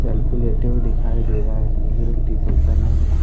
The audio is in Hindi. सेल्फी लेते हुए दिखाई दे रहा है नीले रंग की टी शल्ट पहना हुआ दिखाई--